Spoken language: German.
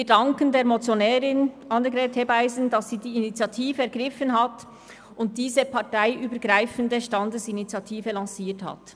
Wir danken der Motionärin, Annegret Hebeisen, dass sie die Initiative ergriffen und diese parteienübergreifende Standesinitiative lanciert hat.